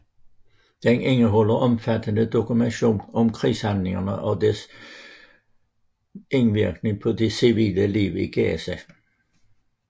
Den indeholder omfattende dokumentation om krigshandlingene og deres indvirkning på det civile liv i Gaza